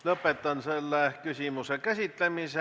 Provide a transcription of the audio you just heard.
Lõpetan selle küsimuse käsitlemise.